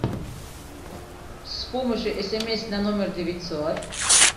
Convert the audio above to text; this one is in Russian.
с помощью смс на номер девятьсот